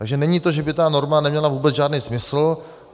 Takže není to, že by ta norma neměla vůbec žádný smysl.